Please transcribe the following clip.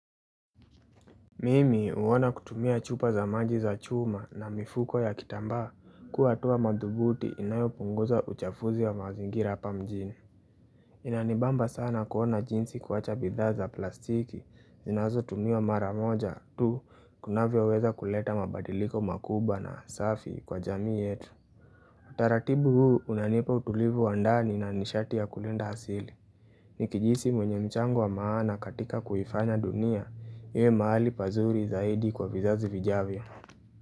Mimi huona kutumia chupa za maji za chuma na mifuko ya kitambaa kuwaa hatua madhubuti inayopunguza uchafuzi wa mazingira hapa mjini. Inanibamba sana kuona jinsi kuacha bidhaa za plastiki zinazo tumiwa maramoja tu kunavyaweza kuleta mabadiliko makubwa na safi kwa jamii yetu. Taratibu huu unanipa utulivu wa ndani na nishati ya kulinda asili. Nikijihisi mwenye mchango wa maana katika kuifanya dunia, iwe mahali pazuri zaidi kwa vizazi vijavyo.